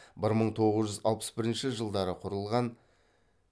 бір мың тоғыз жүз алпыс бірінші жылдары құрылған